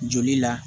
Joli la